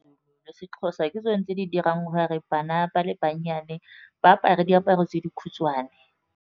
Sexhosa ke tsone tse dirang gore bana ba le bannyane ba apare diaparo tse dikhutshwane.